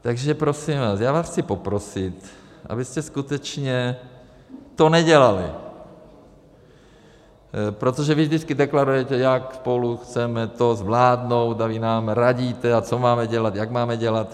Takže prosím vás, já vás chci poprosit, abyste skutečně to nedělali, protože vy vždycky deklarujete, jak spolu chceme to zvládnout, a vy nám radíte, a co máme dělat, jak máme dělat.